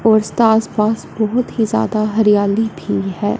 आस पास बहोत ही ज्यादा हरियाली भी हैं।